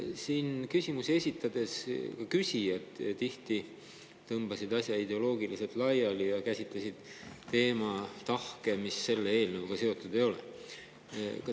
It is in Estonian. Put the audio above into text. Ka küsijad tõmbasid siin küsimusi esitades asja ideoloogiliselt laiali ja käsitlesid selle teema puhul tahke, mis selle eelnõuga seotud ei ole.